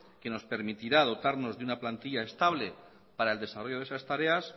que nos permitirá dotarnos de una plantilla estable para el desarrollo de esas tareas